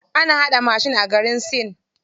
Ana haɗa mashin a garin sin.